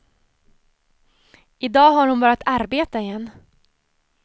I dag har hon börjat arbeta igen.